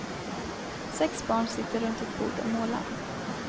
Sex barn sitter runt ett bord och målar.